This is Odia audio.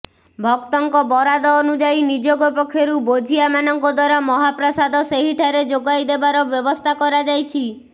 ଭକ୍ତଙ୍କ ବରାଦ ଅନୁଯାୟୀ ନିଯୋଗ ପକ୍ଷରୁ ବୋଝିଆ ମାନଙ୍କ ଦ୍ୱାରା ମହାପ୍ରସାଦ ସେହିଠାରେ ଯୋଗାଇଦେବାର ବ୍ୟବସ୍ଥା କରାଯାଇଛି